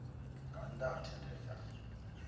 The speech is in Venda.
nga nnda ha thendelo ya